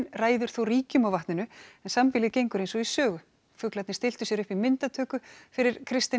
ræður þó ríkjum á vatninu en sambýlið gengur eins og í sögu fuglarnir stilltu sér upp í myndatöku fyrir Kristinn